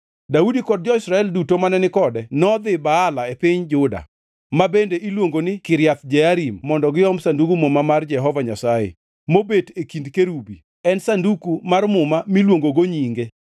Daudi kod jo-Israel duto mane ni kode nodhi Baala e piny Juda, ma bende iluongo ni Kiriath Jearim mondo giom Sandug Muma mar Jehova Nyasaye, mobet e kind kerubi, en sanduku mar muma miluongo gi nyinge.